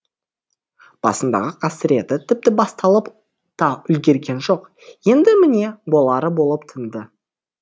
басындағы қасіреті тіпті басталып та үлгерген жоқ енді міне болары болып тынды